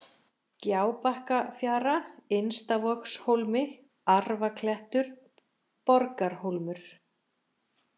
Gjábakkafjara, Innstavogshólmi, Arfaklettur, Borgarhólmur